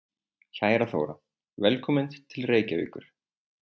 Kæra Þóra. Velkomin til Reykjavíkur.